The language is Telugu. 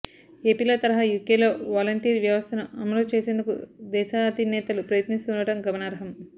ఏపీలో తరహా యూకేలో వాలంటీర్ వ్యవస్థను అమలు చేసేందుకు దేశాధినేతలు ప్రయత్నిస్తూ ఉండటం గమనార్హం